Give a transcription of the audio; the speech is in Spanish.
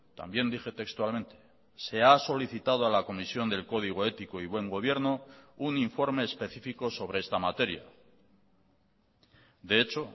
también dije textualmente se ha solicitado a la comisión del código ético y buen gobierno un informe específico sobre esta materia de hecho